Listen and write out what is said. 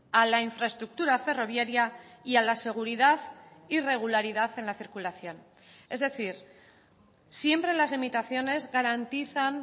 a la infraestructura ferroviaria y a la seguridad y regularidad en la circulación es decir siempre las limitaciones garantizan